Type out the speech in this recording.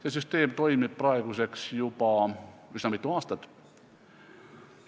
See süsteem on praeguseks juba üsna mitu aastat toiminud.